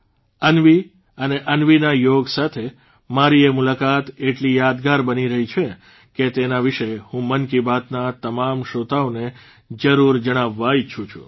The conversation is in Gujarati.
અન્વી અને અન્વીના યોગ સાથે મારી એ મુલાકાત એટલી યાદગાર બની રહી છે કે તેના વિશે હું મન કી બાતના તમામ શ્રોતાઓને જરૂર જણાવવા ઇચ્છું છું